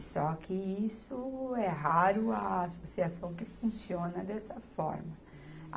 Só que isso é raro, a associação que funciona dessa forma.